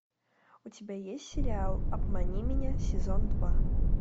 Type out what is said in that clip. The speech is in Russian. у тебя есть сериал обмани меня сезон два